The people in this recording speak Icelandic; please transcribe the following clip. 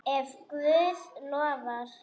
Ef Guð lofar.